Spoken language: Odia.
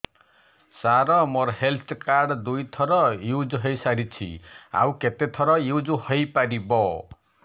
ସାର ମୋ ହେଲ୍ଥ କାର୍ଡ ଦୁଇ ଥର ୟୁଜ଼ ହୈ ସାରିଛି ଆଉ କେତେ ଥର ୟୁଜ଼ ହୈ ପାରିବ